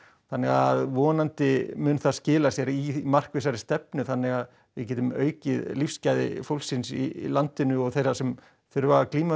þannig að vonandi mun það skila sér í markvissari stefnu þannig að við getum aukið lífsgæði fólksins í landinu og þeirra sem þurfa að glíma við